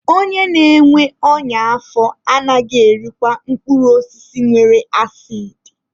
Onye na-enwe ọnya afọ anaghị erikwa mkpụrụ osisi nwere asidi.